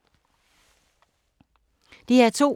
DR2